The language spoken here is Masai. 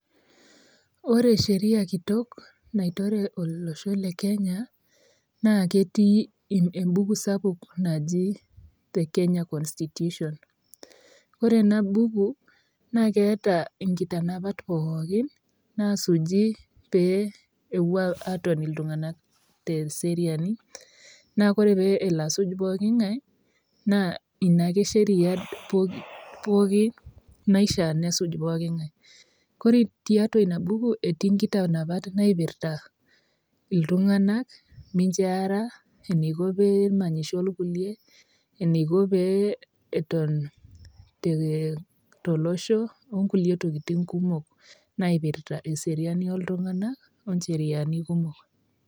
Ore sheria kitok naitore olosho le Kenya, naa ketii embuku sapuk naji The Kenya Constitution ore ena buku naa keeta inkitanapat pookin naasuji pee epoi atoni iltunganak pookin teseriani, naa ore pee elo asuj pooki ngae naa ina ake sheria naifaa nesuj pooki ngae. Ore tiatua ina buku etii inkitanapat naipirta iltunganak, minjo eara, eneiko pee emanyisho kulie, enaiko pee Eton tolosho okului tokitin kumok.